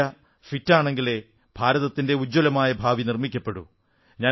India fit ആണെങ്കിലേ ഭാരതത്തിന്റെ ഉജ്ജ്വലമായ ഭാവി നിർമ്മിക്കപ്പെടൂ